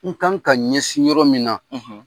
U kan ka ɲɛsin yɔrɔ min na